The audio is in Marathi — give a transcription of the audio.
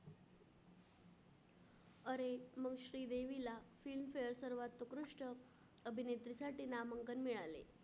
अरे मग श्रीदेवीला Film Fair सर्वात उत्कृष्ट अभिनेत्रीसाठी नामांकन मिळाले.